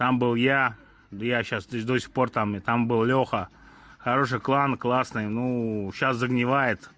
там был я да я сейчас то есть до сих пор там и там был лёша хороший клан классный ну сейчас загнивает